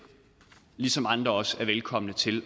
ligesom andre også er velkomne til